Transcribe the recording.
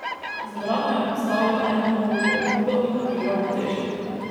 Zbrano je postavljal eno nogo pred drugo in lovil ravnotežje.